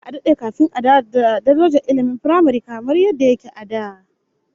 Za'a dade kafin a dawo da darajar ilmin firamare kamar yadda yake a da